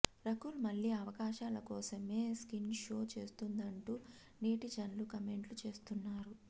రకుల్ మళ్లీ అవకాశాల కోసమే స్కిన్ షో చేస్తుందంటూ నెటిజన్లు కామెంట్లు చేస్తున్నారు